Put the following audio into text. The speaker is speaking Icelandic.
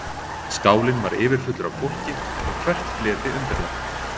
Skálinn var yfirfullur af fólki og hvert fleti undirlagt.